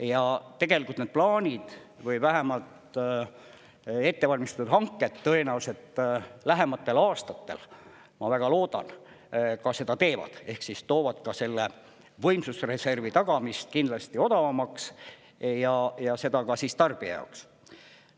Ja tegelikult need plaanid või vähemalt ettevalmistatud hanked tõenäoliselt lähematel aastatel, ma väga loodan, ka seda teevad ehk siis toovad selle võimsusreservi tagamist kindlasti odavamaks ja seda ka tarbija jaoks.